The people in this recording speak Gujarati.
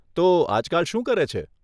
તો, આજકાલ શું કરે છે?